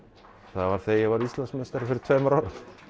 það var þegar ég varð Íslandsmeistari fyrir tveimur árum